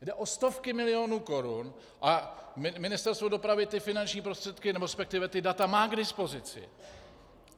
Jde o stovky milionů korun a Ministerstvo dopravy ty finanční prostředky, nebo respektive ta data má k dispozici.